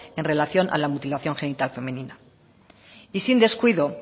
en relación a la mutilación genital femenina y sin descuido